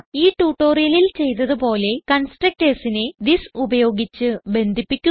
ഈ ട്യൂട്ടോറിയലിൽ ചെയ്തത് പോലെ constructorsനെ തിസ് ഉപയോഗിച്ച് ബന്ധിപ്പിക്കുക